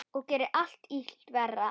Og gerir illt verra.